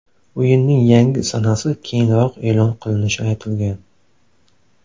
O‘yinning yangi sanasi keyinroq e’lon qilinishi aytilgan.